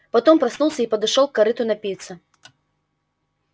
потом проснулся и подошёл к корыту напиться